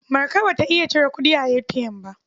Marka ba ta iya cire kuɗi a ATM ba.